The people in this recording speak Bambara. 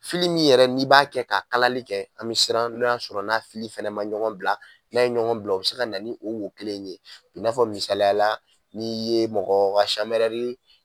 Fili min yɛrɛ n'i b'a kɛ ka kalali kɛ an bi siran n'o y'a sɔrɔ na fili fɛnɛ ma ɲɔgɔn bila n'a ye ɲɔgɔn bila o be se ka na ni o wo kelen in ye i n'a fɔ misaliyala ni ye mɔgɔ ka sanbɛrɛri